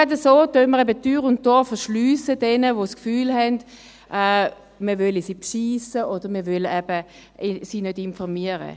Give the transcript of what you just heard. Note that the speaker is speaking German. Gerade so verschliessen wir jenen Tür und Tor, die das Gefühl haben, man wolle sie bescheissen oder sie nicht informieren.